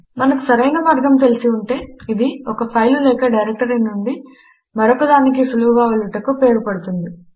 మనకు సరైన మార్గం తెలిసి ఉంటే ఇది ఒక ఫైలు లేక డైరెక్టరీ నుండి మరొక దానికి సులువుగా వెళ్ళుటకు ఉపయోగపడుతుంది